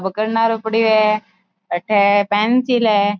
वो करनारो पड़ियो है अठे पेन्सिल है।